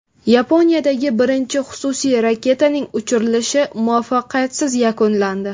Yaponiyadagi birinchi xususiy raketaning uchirilishi muvaffaqiyatsiz yakunlandi.